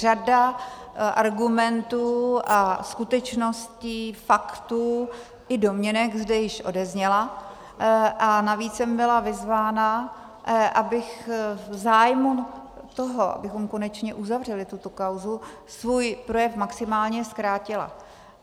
Řada argumentů a skutečností, faktů i domněnek zde již odezněla a navíc jsem byla vyzvána, abych v zájmu toho, abychom konečně uzavřeli tuto kauzu, svůj projev maximálně zkrátila.